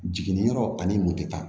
Jiginniyɔrɔ ani mɔtɛ